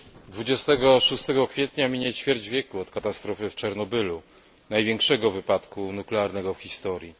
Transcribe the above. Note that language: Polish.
26 kwietnia minie ćwierć wieku od katastrofy w Czarnobylu, największego wypadku nuklearnego w historii.